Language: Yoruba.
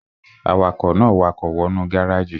Awakọ̀ náà wakọ̀ wọ nú gáràjì